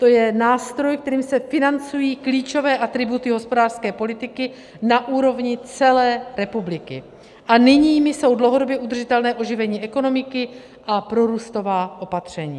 To je nástroj, kterým se financují klíčové atributy hospodářské politiky na úrovni celé republiky, a těmi jsou dlouhodobě udržitelné oživení ekonomiky a prorůstová opatření.